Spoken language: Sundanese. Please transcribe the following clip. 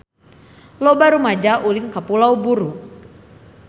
Loba rumaja ulin ka Pulau Buru